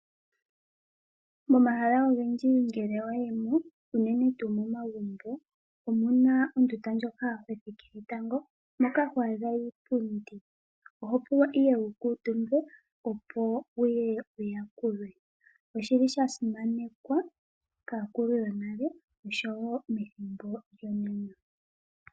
Momahala ogendji ngele wayi mo unene tuu momagumbo omuna ondunda ndjoka hothikile tango, moka ho adha iipundi oho pulwa ihe wukuutumbe opo wuye wuyakulwe. Oshili shasimanekwa kaakulu yonale oshowo methimbo lyonena.